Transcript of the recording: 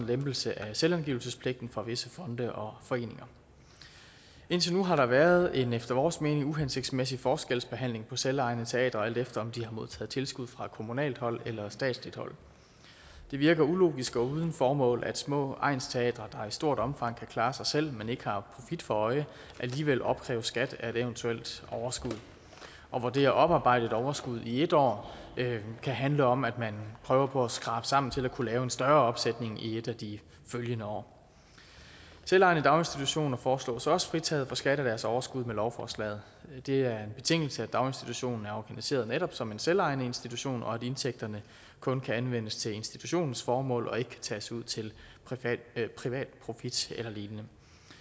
lempelse af selvangivelsespligten for visse fonde og foreninger indtil nu har der været en efter vores mening uhensigtsmæssig forskelsbehandling på selvejende teatre alt efter om de har modtaget tilskud fra kommunalt hold eller statsligt hold det virker ulogisk og er uden formål at små egnsteatre der i stort omfang kan klare sig selv men som ikke har profit for øje alligevel opkræves skat af et eventuelt overskud og det at oparbejde et overskud i et år kan handle om at man prøver på at skrabe sammen til at kunne lave en større opsætning i et af de følgende år selvejende daginstitutioner foreslås også fritaget fra skat af deres overskud med lovforslaget det er en betingelse at daginstitutionen er organiseret netop som en selvejende institution og at indtægterne kun kan anvendes til institutionens formål og ikke kan tages ud til privat profit eller lignende